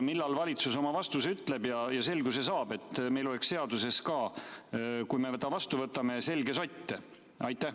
Millal valitsus oma vastuse ütleb ja selguse saab, et meil oleks seaduses ka, kui me ta vastu võtame, selge sott?